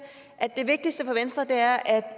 at det vigtigste for venstre er at